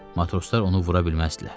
Matroslar onu vura bilməzdilər.